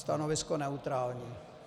Stanovisko neutrální.